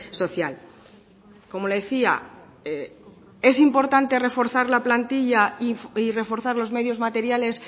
social como le decía es importante reforzar la plantilla y reforzar los medios materiales